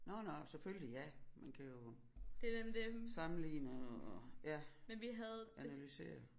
Nåh nåh selvfølgelig ja man kan jo sammenligne og ja analysere